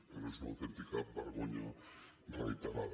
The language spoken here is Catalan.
però és una autèntica vergonya reiterada